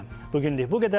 Bugünlük bu qədər.